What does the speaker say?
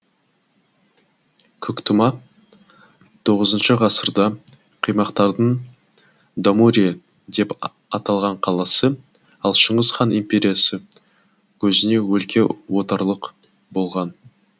көктұма тоғызыншы ғасырда қимақтардың дамурия деп аталған қаласы ал шыңғыс хан империясы кезінде өлке орталық болған